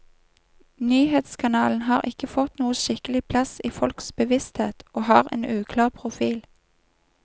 Nyhetskanalen har ikke fått noen skikkelig plass i folks bevissthet, og har en uklar profil.